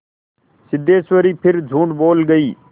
सिद्धेश्वरी फिर झूठ बोल गई